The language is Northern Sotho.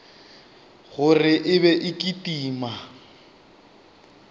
gore e be e kitima